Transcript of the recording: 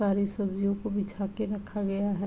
सारी सब्जियों को बिछा के रखा गया है।